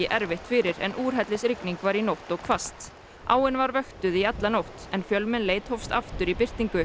erfitt fyrir en úrhellisrigning var í nótt og hvasst áin var vöktuð í alla nótt en fjölmenn leit hófst aftur í birtingu